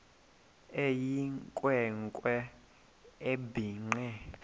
eyinkwe nkwe ebhinqe